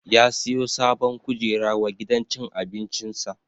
Ya siyo sabon kujera wa gidan cin abincin sa